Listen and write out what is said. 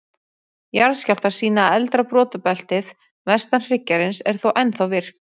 Jarðskjálftar sýna að eldra brotabeltið, vestan hryggjarins, er þó ennþá virkt.